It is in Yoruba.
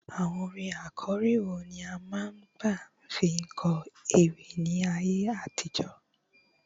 àwọn àkòrí wo ni a ma n saba fi kó ewi ní ayé àtijó